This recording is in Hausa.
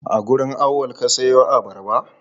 A wurin Auwal ka siyo abarba?